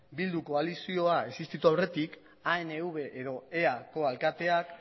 bilduko koalizioa existitu aurretik anv edo eako alkateak